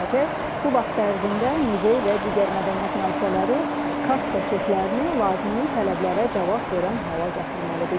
Bu vaxt ərzində muzey və digər mədəniyyət müəssisələri kassa çeklərini lazımi tələblərə cavab verən hala gətirməlidir.